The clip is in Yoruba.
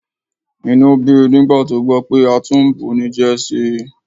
Inú bí i nígbà tó gbọ́ pé a tún ń bunijẹ sí i